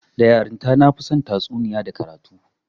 Da yarinta, na fi son tatsuniya da karatu